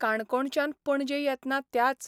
काणकोणच्यान पणजे येतना त्याच